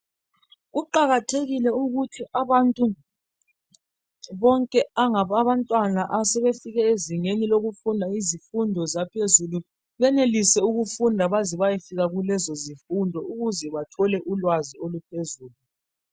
Kuqakathekile ukuthi abantu bonke abangabantwana asebwfike ezingeni lokufunda izifundo zezingeni eliphezulu benelise ukufunda baze bayefika kulezo zifundo ukuze bathole ulwazi oluphezulu.